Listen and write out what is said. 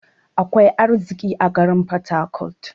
Akwai arziƙi a garin porharcourt.